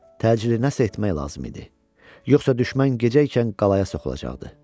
Təcili nəsə etmək lazım idi, yoxsa düşmən gecəykən qalaya soxulacaqdı.